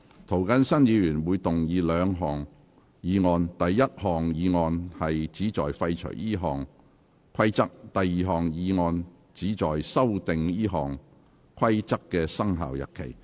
涂謹申議員會動議兩項議案：第一項議案旨在廢除這項規則；第二項議案旨在修訂這項規則的生效日期。